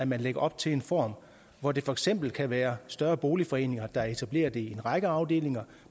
man lægger op til en form hvor det for eksempel kan være større boligforeninger der etablerer det i en række afdelinger